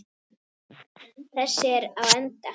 Þessi er á enda.